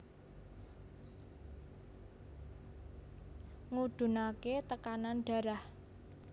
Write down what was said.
Ngudhunaké tekanan darah